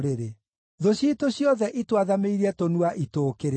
“Thũ ciitũ ciothe itwathamĩirie tũnua itũũkĩrĩre.